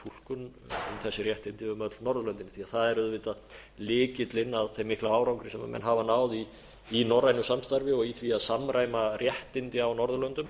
þessi réttindi um öll norðurlöndin því að það er auðvitað lykillinn að þeim mikla árangri sem menn hafa náð í norrænu samstarfi og í því að samræma réttindi á norðurlöndum